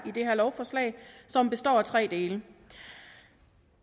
i det her lovforslag som består af tre dele